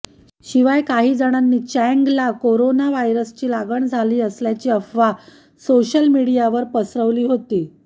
शिवाय काही जणांनी चँगला कोरोना व्हायरसची लागण झाली असल्याची अफवा सोशल मीडियावर पसरवली होती